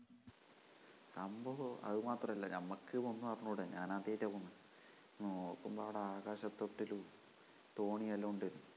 സംഭവം അതുമാത്രമല്ല നമ്മക്ക് ഒന്നും അറിഞ്ഞൂട ഞാൻ ആദ്യായിട്ടാ പോണത് നോക്കുമ്പോ അവിടെ ആകാശ തൊട്ടിലും തോണിയുമെല്ലാം ഉണ്ട്